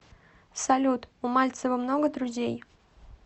салют у мальцева много друзей